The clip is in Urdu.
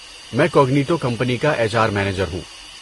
میں کوگنیٹو کمپنی کا ایچ آر مینیجر ہوں۔